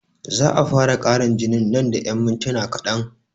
Za'a fara ƙarin jinin man da yan mintuna kaɗan